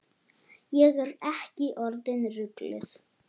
Ég er ekki orðin rugluð.